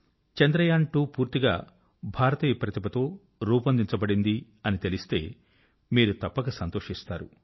చంద్రయాన్2 పూర్తిగా భారతీయ ప్రతిభ తో రూపొందించబడింది అని తెలిస్తే మీరు తప్పక సంతోషిస్తారు